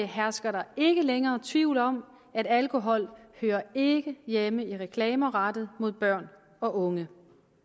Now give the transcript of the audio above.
hersker der ikke længere tvivl om at alkohol ikke hjemme i reklamer rettet mod børn og unge